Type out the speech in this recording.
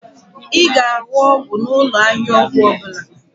Ị ga-ahụ ọgwụ n'ụlọ ahịa ọgwụ ọbụla